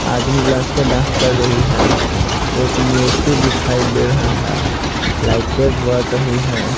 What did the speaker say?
आदमी और लड़के डांस कर रही है एक मूर्ति दिखाई दे रहा है लाइटें बढ़ रही है।